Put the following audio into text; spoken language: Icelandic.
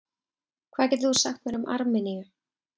Hvað getur þú sagt mér um Armeníu?